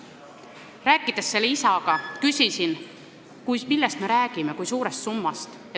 Kui rääkisin selle isaga, siis küsisin, millest me räägime, st kui suurest summast.